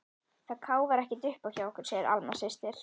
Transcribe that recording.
Það káfar ekkert uppá okkur, segir Alma systir.